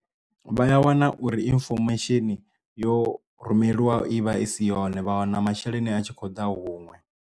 Vha a wana uri infomesheni yo rumelwa i vha i si yone vha wana masheleni a tshi khou ḓa huṅwe.